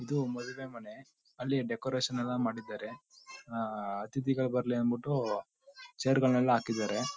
ಇದು ಮದುವೆ ಮನೆ ಅಲ್ಲಿ ಡೆಕೋರೇಷನ್ ಎಲ್ಲ ಮಾಡಿದ್ದಾರೆ. ಆ ಅತಿಥಿಗಳು ಬರ್ಲಿ ಅಂದ್ಬಿಟ್ಟು ಚೇರ್ ಗಳೆಲ್ಲ ಹಾಕಿದ್ದಾರೆ. .